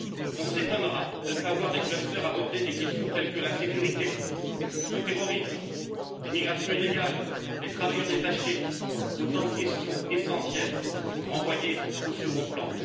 On s'étonnera de ne pas voir des clusters aborder des questions telles que la sécurité, le terrorisme, l'immigration illégale, les travailleurs détachés autant de questions essentielles renvoyées au second plan.